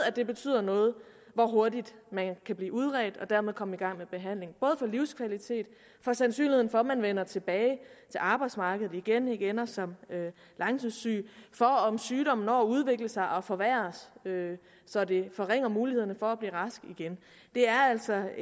det betyder noget hvor hurtigt man kan blive udredt og dermed komme i gang med behandlingen både for livskvaliteten for sandsynligheden for at man vender tilbage til arbejdsmarkedet igen og ikke ender som langtidssyg og for om sygdommen når at udvikle sig og forværres så det forringer muligheden for at blive rask igen det er altså